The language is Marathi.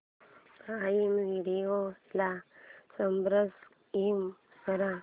प्राईम व्हिडिओ ला सबस्क्राईब कर